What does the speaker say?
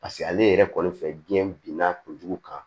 Paseke ale yɛrɛ kɔni fɛ biyɛn bin n'a kojugu kan